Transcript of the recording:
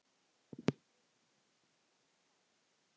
En eru menn þá skáld?